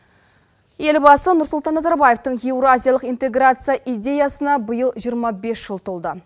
елбасы нұрсұлтан назарбаевтың еуразиялық интеграция идеясына биыл жиырма бес жыл толды